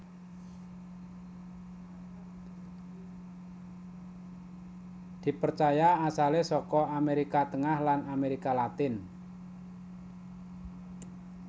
Dipercaya asalé saka Amérika Tengah lan Amérika Latin